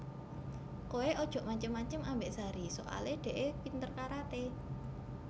Kowe ojok macem macem ambek Sari soale dekke pinter karate